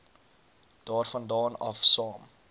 daarvandaan af saam